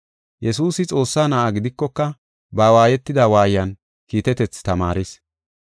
Yesuusi Xoossaa Na7a gidikoka ba waayetida waayan kiitetethi tamaaris.